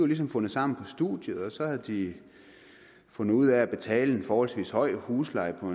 ligesom fundet sammen på studiet og så havde de fundet ud af at betale en forholdsvis høj husleje på